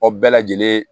Aw bɛɛ lajɛlen